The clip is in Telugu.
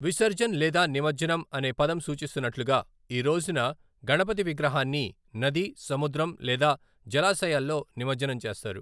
విసర్జన్' లేదా 'నిమజ్జనం' అనే పదం సూచిస్తున్నట్లుగా, ఈ రోజున గణపతి విగ్రహాన్ని నది, సముద్రం లేదా జలాశయాల్లో నిమజ్జనం చేస్తారు.